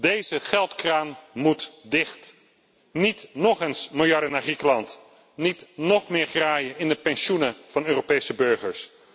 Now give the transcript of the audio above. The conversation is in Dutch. Deze geldkraan moet dicht. Niet nog eens miljarden naar Griekenland, niet nog meer graaien in de pensioenen van Europese burgers.